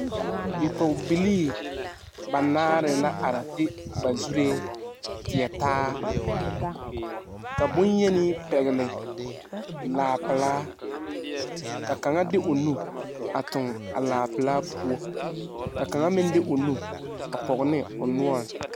Bipoge bilii banaare la are de ba zureɛ teɛ taa. Ka bonyeni pɛgle laa pulaa. Ka kanga de o nu a toŋ a laa pulaa poʊ. Ka kanga meŋ de o nu a pɔge ne o noure